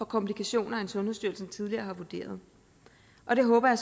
komplikationer end sundhedsstyrelsen tidligere har vurderet jeg håber